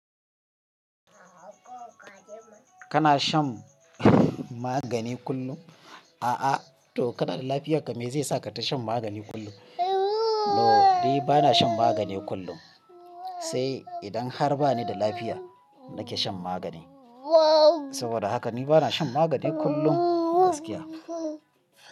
Kana shan magani kullum? A'a, to kana da lafiya game zai sa ka ta shan magani kullum. No, ni ba na shan magani kullum, sai idan har ba ni da lafiya nake shan magani. Saboda haka ni ba na shan magani kullum gaskiya.